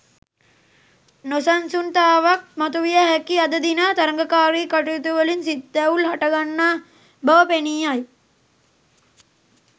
නොසන්සුන්තාවක් මතුවිය හැකි අද දින තරගකාරී කටයුතුවලින් සිත් තැවුල් හටගන්නා බව පෙනීයයි.